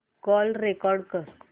call record कर